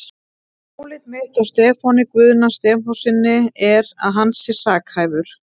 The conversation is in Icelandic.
Álit mitt á Stefáni Guðna Stefánssyni er, að hann sé sakhæfur.